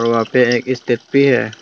वहां पे एक स्टेज भी है।